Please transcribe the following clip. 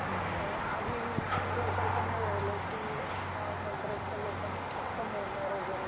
आधीसारख नाही राहिल फ़क्त ओळखीच्याच व्यक्तिना मिळणार वैगेरे.